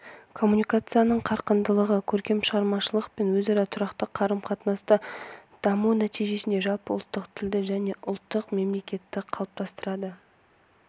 коммуникацияның қарқындылығы көркем шығармашылық пен өзара тұрақты қарым-қатынасты дамыту нәтижесінде жалпы ұлттық тілді және ұлттық мемлекетті қалыптастырады